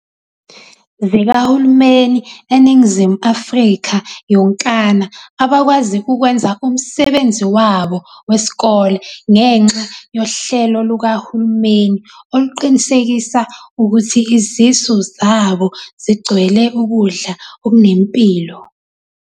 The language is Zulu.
.zikahulumeni eNingizimu Afrika yonkana abakwazi ukwenza umsebenzi wabo wesikole ngenxa yohlelo lukahulumeni oluqinisekisa ukuthi izisu zabo zigcwele ukudla okunempilo.